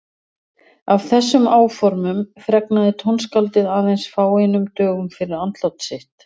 Af þessum áformum fregnaði tónskáldið aðeins fáeinum dögum fyrir andlát sitt.